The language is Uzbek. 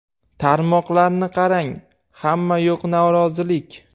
Tarmoqlarni qarang, hamma yoq norozilik.